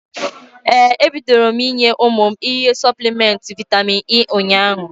Ee, ebịdoro m inye ụmụ m ihe Sọplịmenti Vitamin E ụnyaahụ